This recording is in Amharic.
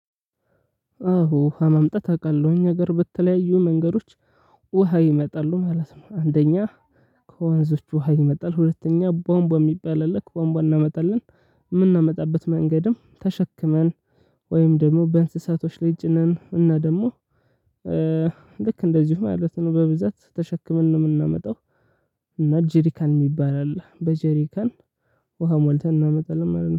አሁን ውሃ መምጣት አውቃለሁኝ ነገር በተለያዩ መንገዶች ውሃ ይመጣሉ ማለት ነው። አንደኛ ከወንዞቹ ውሃ ይመጣል። ሁለተኛ ባምባ የሚባል ልክ ባምባ እናመጣለን። የምናመጣበት መንገድም ተሸክመን ወይም ደግሞ በእንስሳቶች ላይ ጭነን ነን። እና ደግሞ ልክ እንደዚሁ ማለት ነው በብዛት ተሸክመን ነው የምናመጣው። እና ጄሪካን የሚባል አለ። በጄሪካን ውሃ ሞልተን እናመጣለን